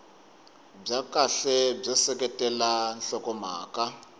bya kahle byo seketela nhlokomhaka